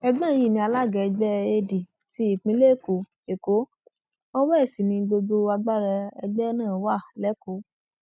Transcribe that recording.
ẹgbọn yìí ni alága ẹgbẹ ad tí ìpínlẹ èkó èkó ọwọ ẹ sì ni gbogbo agbára ẹgbẹ náà wà lẹkọọ